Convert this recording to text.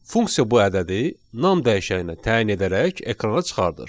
Funksiya bu ədədi nam dəyişəyinə təyin edərək ekrana çıxardır.